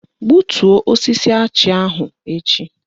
Gbutuo osisi achị ahụ echi!